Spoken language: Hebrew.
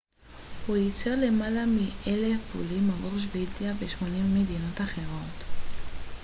הוא ייצר למעלה מ־1,000 בולים עבור שוודיה ו־28 מדינות אחרות